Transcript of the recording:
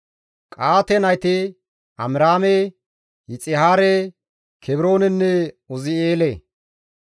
Qa7aate nayti Amiraame, Yixihaare, Kebroonenne Uzi7eele.